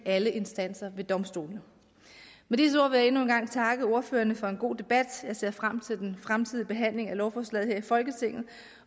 alle instanser ved domstolene med disse ord vil jeg endnu en gang takke ordførerne for en god debat jeg ser frem til den fremtidige behandling af lovforslaget her i folketinget